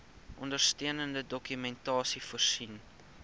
ondersteunende dokumentasie voorsien